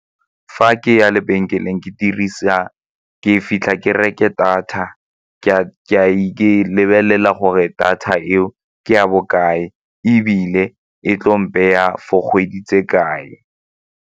Fa ke ya lebenkeleng ke dirisa, ke fitlha ke reke data lebelela gore data eo ke ya bokae ebile e tlo mpeya ya for kgwedi tse kae.